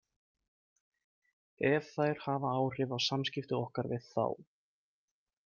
Ef þær hafa áhrif á samskipti okkar við þá.